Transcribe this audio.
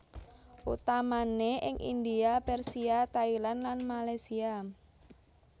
Utamane ing India Persia Thailand lan Malaysia